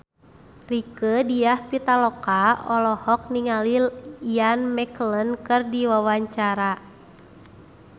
Rieke Diah Pitaloka olohok ningali Ian McKellen keur diwawancara